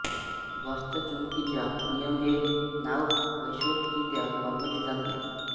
गॉसचा चुंबकीचा नियम हे नाव वैश्विकरित्या वापरली जात नाही